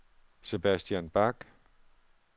Sebastian Bach